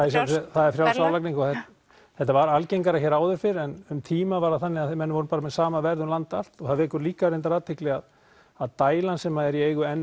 það er frjáls verðlagning og þetta var algengara hér áður fyrr en um tíma var það þannig að menn voru bara með sama verð um land allt það vekur líka athygli að að dælan sem er í eigu n